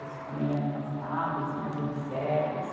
Eles ficam meio afastados, eles mais observam.